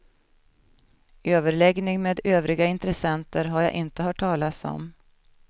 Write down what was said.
Överläggning med övriga intressenter har jag inte hört talas om.